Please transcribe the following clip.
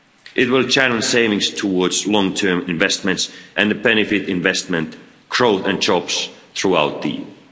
It will channel savings towards long-term investments and benefit investment growth and jobs throughout the